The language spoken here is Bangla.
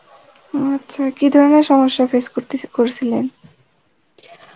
উম আচ্ছা কী ধরনের সমস্যা face করতিসে~ করেসিলেন?